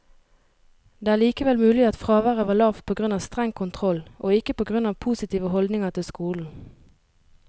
Det er likevel mulig at fraværet var lavt på grunn av streng kontroll, og ikke på grunn av positive holdninger til skolen.